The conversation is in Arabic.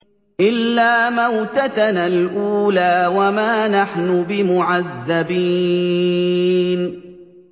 إِلَّا مَوْتَتَنَا الْأُولَىٰ وَمَا نَحْنُ بِمُعَذَّبِينَ